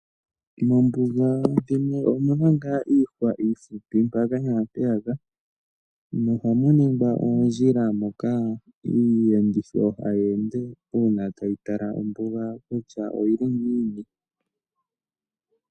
Moombuga dhimwe omu na ngaa iihwa iihupi mpaka naampeyaka. Ohamu ningwa oondjila moka iiyenditho hayi ende uuna tayi tala ombuga kutya oyi li ngiini.